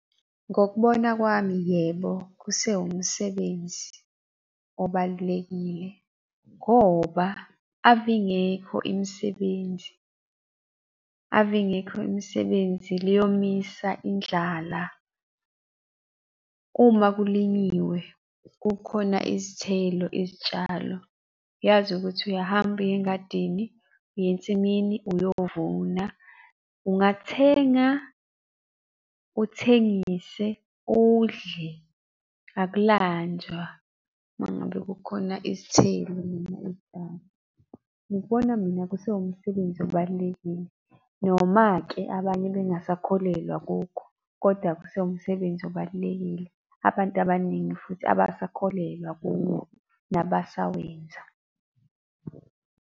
Ngokubona kwami yebo, kusewumsebenzi obalulekile ngoba ave ingekho imisebenzi, ave ingekho imisebenzi liyomisa indlala. Uma kulinyiwe kukhona izithelo izitshalo, uyazi ukuthi uyahamba uya engadini, uya ensimini uyovuna. Ungathenga uthengise udle akulanjwa uma ngabe kukhona izithelo noma izitshalo. Ngikubona mina kusewumsebenzi obalulekile, noma-ke abanye bengasakholelwa kukho, kodwa kusewumsebenzi obalulekile. Abantu abaningi futhi abasakholelwa kuwo nabasawenza.